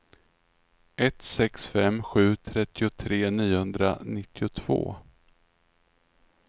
ett sex fem sju trettiotre niohundranittiotvå